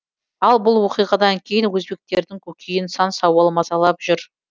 ал бұл оқиғадан кейін өзбектердің көкейін сан сауал мазалап жүр